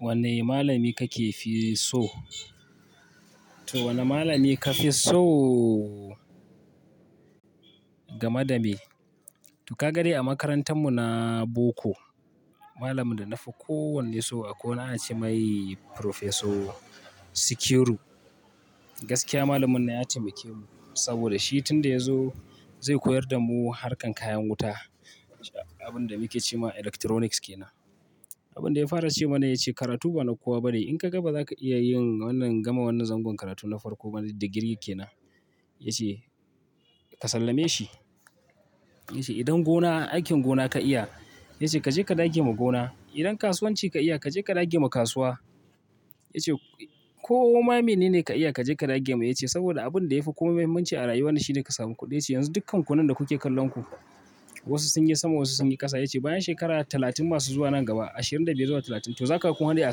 Wane malami kakefi so. Wanne malami kafi so? Gama dame. Dukagari a makarantar mu na boko. Malamin da na fi kowanne so a koi wani ana ce mai Prifeso Sikiru. Gaskiya malamin na ya taimake mu. Saboda shi tun da ya zo zai koyar da mu harkan kayan wuta. Abin da muke ce ma electronics ke nan. Abin da ya fara ce mana yace karatu ba na kowa bane. In ka ga ba za ka iya yin wannan, gama wannan zangon karatu na farko bane da girki kenan. Yace ka sallame shi yace idan gona, aikin gona ka iya, yace kaje ka dage ma gona. Idan kasuwanci ka iya kaje ka rage ma kasuwa. Yace ko ma ne ne ka iya kaje ka dage mai. Yace saboda abin da ya fi kuma muhimmanci a rayuwa shine ka samu kuɗi. Yanzu dukkan ku nan da kuke kallon ku wasu sun yi sama wasu sun yi ƙasa. Yace bayan shekaru talatin masu zuwa nan gaba, ashirin da dai zuwa talatun to za ka ga kuma wani a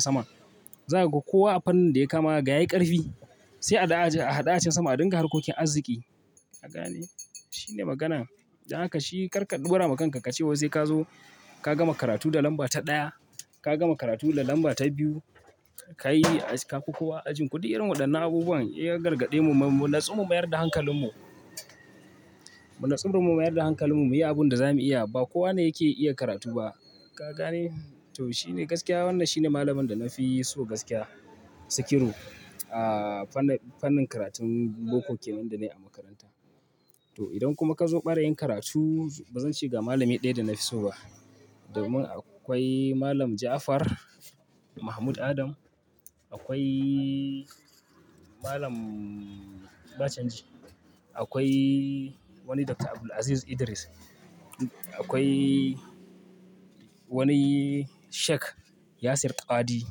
sama. Za ka ga kowa a fannin da ya kama ga yayi ƙarfi. Sai a haɗa acin sama a ɗinka harkokin arziki. Ka gane? Shine magana. Don haka shi karka dora ma kan kace sai kagama karatu da lamba ta daya kagama karatu a lamba ta biyu. Ka as kafi kowa a ajinku. Duk irin waɗannan abubuwan ya gargaɗe mu. Mu natsu mu mayar da hankalin mu. Mu natsu mu mayar da hankalin mu muyi abun da za muyi iya. Ba kowa ne yake iya karatu ba. Ka gane? To shine gaskiya wannan shine malamin da na fi so gaskiya Sikiru. Fannin karatun boko kenan danai a makaranta. To idan kuma ka zo ɓarayin karatu ba zan ce ga malami ɗaya da na fi so ba. Domin akwai Malam Jafar Mahmud Adam, akwai Malam Bacangi, akwai wani Doctor Abdulaziz Idris, akwai wani Sheik Yasir Qadi.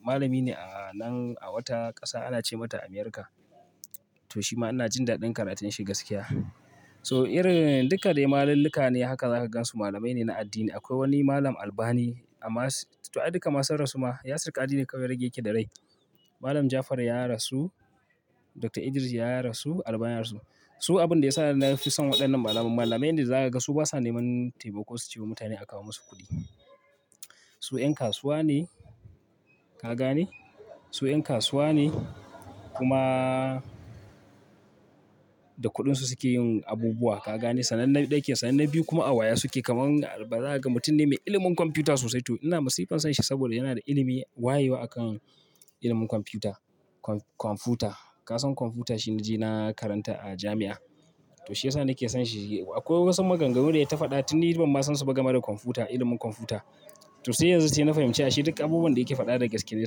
Malami ne a nan a wata ƙasa ana ce mata Amirka. To shi ma ana jin daɗin karatun shi gaskiya. So irin duka dai malaluka ne haka za ka gansu malamai ne na addini. Akwai wani malam Albani. Amma to duka ma sun rasu ma Yasir Qadi ne kawai rage yake da rai. Malam Jafar ya rasu, Doctor Idris ya rasu, Albani ya rasu. Su abin da ya sa na fi son waɗannan malamai, malamai inda za ka ga su basa neman tema ko su ciwa mutane a kawo musu kuɗi. Su 'yan kasuwa ne. Ka gane? Su 'yan kasuwa ne kuma da kuɗin su suke yin abubuwa. Ka gane? Sannan na daya sanannen biyu kuma awaya su ke kaman albarka mutum ne mai ilimin kwamfuta sosai. To ina masifan san shi saboda yana da ilimi wayewa a kan ilimin kwamfuta. Kwamfuta. Ka san kwamfuta shine na karanta a jami'a. To shi ya sa nake son shi. Akwai wasu maganganu da ya tafaɗa tun ni ban ma san suka gama da kwamfuta, ilimin kwamfuta. To sai yanzu sai na fahimci ashe duka abubuwan da yake faɗa da gaske ne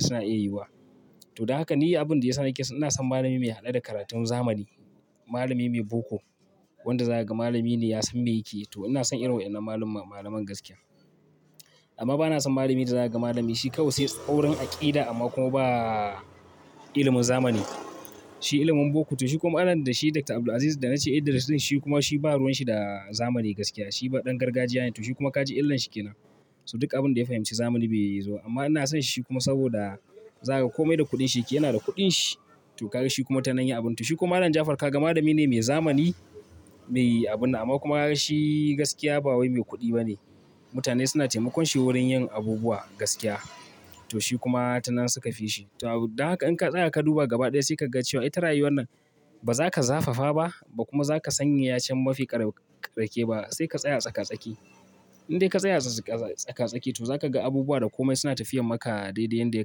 suna iya yiwuwa. To don haka ni abin da ya sa nake, ina son malami mai haɗe da karatun zamani. Malami mai boko. Wanda zakaga malami ne yasan mi yake to inason wannan maluman gaskiya amma bana son malamin da za ka ga malami shi kawai sai tsaurin aƙida amma kuma ba ilimin zamani. Shi ilimin boko. To shi kuma anan da shi Doctor Abdulaziz da na ce Idris shine kuma shi ba ruwan shi da zamani gaskiya. Shi ɗan gargajiya ne. To shi kuma ka ji illan shi kenan. To aduk abinda ya fahimci zami bai zo ba amma ina sonshi saboda zakaga komai da kudinshi yakeyi yana da kuɗin shi. To ka ga shi kuma tana yin abun. To shi kuma Malam Jafar ka ga malami ne mai zamani, mai abun. Amma kuma ka ga shi gaskiya ba wai mai kuɗi bane. Mutane suna taimakon shi wurin yin abubuwa gaskiya. To shi kuma tana suka fi shi. To don haka in ka tsaya ka duba gaba ɗaya sai ka ga cewa ita rayuwar nan ba za ka zafafa ba kuma ba za ka sanya yacen mafi ƙara ƙirki ba. Sai ka tsaya a tsaka tsaki. Indai ka tsaya a tsaka tsaki to za ka ga abubuwa da kome suna tafiyar maka daidai yanda ya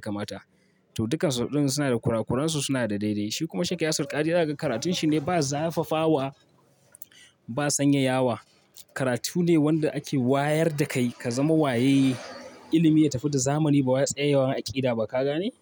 kamata. To dukan su ɗin suna da kurakuran su suna da daidai. Shi kuma Sheik Yasir Qadi za ka ga karatun shi ne ba zafafa wa ba sanyeyawa. Karatu ne wanda ake wayar da kai ka zama waye ilimi ya tafi da zamani ba wa tsayawa aƙida ba. Ka gane?